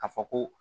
A fɔ ko